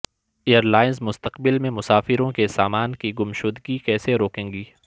year lines مستقبل میں مسافروں کے سامان کی گمشدگی کیسے روکیں گی